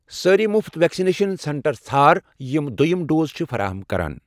سٲری مفت vaccination centre ژھار یِم دٔیُم ڈوز چھِ فراہِم کران۔